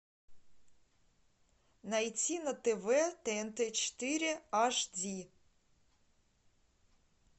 найти на тв тнт четыре аш ди